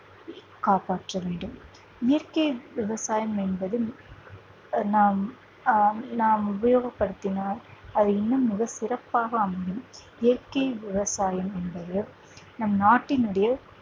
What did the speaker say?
காப்பாற்ற வேண்டும் இயற்கை விவசாயம் என்பது அஹ் நாம் ஆஹ் நாம் உபயோகப்படுத்தினால் அது இன்னும் மிக சிறப்பாக அமையும் இயற்கை விவசாயம் என்பது நம் நாட்டினுடைய